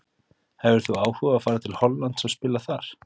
Hefðir þú áhuga á að fara til Hollands og spila þar?